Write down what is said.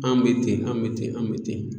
An bɛ ten an bɛ ten an bɛ ten.